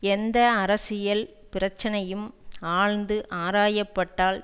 எந்த அரசியல் பிரச்சினையும் ஆழ்ந்து ஆராயப்பட்டால்